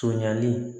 Sonɲali